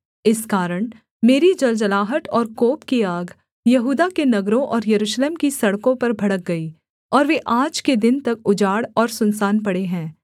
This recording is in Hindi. इस कारण मेरी जलजलाहट और कोप की आग यहूदा के नगरों और यरूशलेम की सड़कों पर भड़क गई और वे आज के दिन तक उजाड़ और सुनसान पड़े हैं